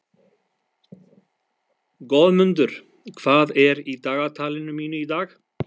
Goðmundur, hvað er í dagatalinu mínu í dag?